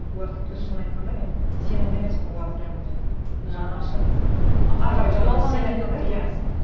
олар тіпті шын айтқанда мен сенімді емеспін олар прямо жаны ашып